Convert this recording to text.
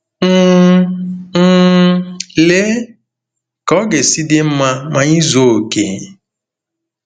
um um Lee ka ọ ga-esi dị mma ma anyị zuo okè!